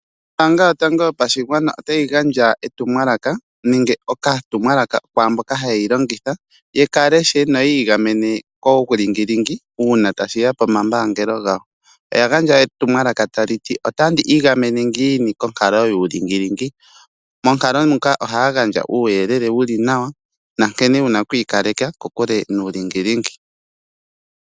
Ombaanga yotango yopashigwana otayi gandja etumwalaka nenge okatumwalaka kwaamboka hayeyi longitha yekaleshe noyi igamene kuulingilingi uuna tashiya pomapungulilo gawo . Oyagandja etumwalaka taliti "otandi igamene ngiini konkalo yuulingilingi monkalo muka ohaya gandja uuyelele wuli nawa nankene wuna oku ikaleka kokule nuulingilingi.